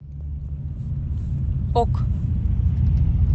ок